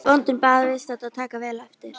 Bóndinn bað viðstadda að taka vel eftir.